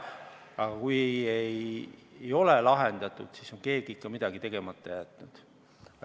Aga kui ei ole lahendatud, siis on keegi ikka midagi tegemata jätnud.